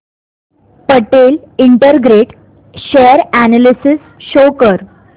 Patel integrate share analysis show कर